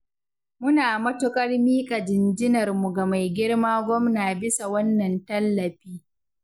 Muna matuƙar miƙa jinjinarmu ga maigirma gwamna bisa wannan tallafi.